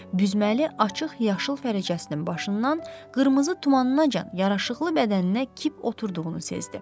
Büzməli açıq yaşıl fərəcəsinin başından qırmızı tumanınacan yaraşıqlı bədəninə kip oturduğunu sezdi.